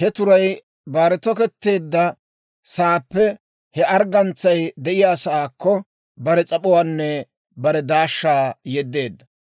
he turay bare toketteedda saappe he arggantsay de'iyaasaakko, bare s'ap'uwaanne bare daashshaa yeddeedda.